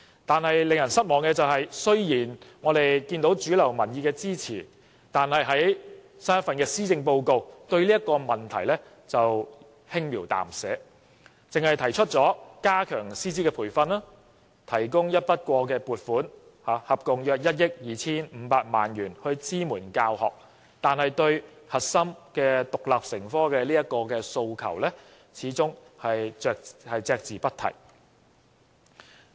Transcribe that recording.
不過，令人失望的是，雖然有主流民意的支持，但在新一份施政報告中卻對這問題輕描淡寫，只是提出加強師資培訓，以及提供合共約1億 2,500 萬元的一筆過撥款支援教學，而對於中史獨立成科的核心訴求，始終隻字不提。